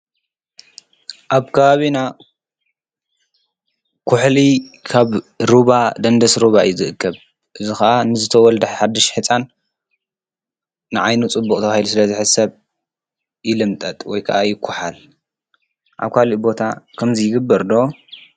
ኣብ ካባቤና ኲሕሊ ካብ ሩባ ደንደስ ሩባ እዩ ዝእክብ፡፡ እዚ ኸዓ ንዝተወልደ ሓድሽ ህፃን ንዓይኑ ፅቡቕ ተባሂሉ ስለዝሕሰብ ይልምጠጥ ወይከዓ ይኳሓል፡፡ ኣብ ካልእ ቦታ ከምዙይ ይግበር ዶ?